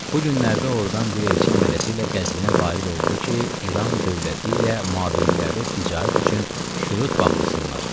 Bu günlərdə ordan bir elçi əmələşi ilə Qəzvinə varid oldu ki, İran dövləti ilə mabeynlərdə ticarət üçün şürut bağlasınlar.